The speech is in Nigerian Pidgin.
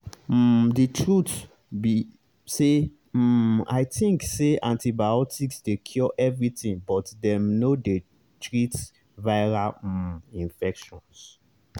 umthe truth be say um i think say antibiotics dey cure everything but dem no dey treat viral um infections.